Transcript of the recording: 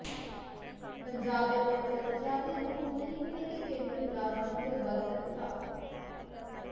ਪੰਜਾਬ ਦੇ ਨਵੇਂ ਕਰਮਚਾਰੀਆਂ ਨੂੰ ਹੁਣ ਨਹੀੰ ਮਿਲੇਗੀ ਕੇਂਦਰੀ ਮੁਲਾਜ਼ਮਾਂ ਤੋਂ ਵੱਧ ਤਨਖਾਹ